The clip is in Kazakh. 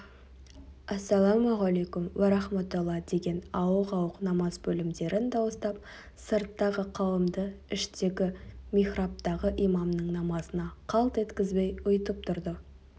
әссәләмуғалайкүм уәрәхметолла деген ауық-ауық намаз бөлімдерін дауыстап сырттағы қауымды іштегі михрабтағы имамның намазына қалт еткізбей ұйытып тұрды